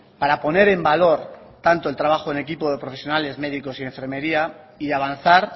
para poner en valor tanto el trabajo en equipo de profesionales médicos y enfermería y de avanzar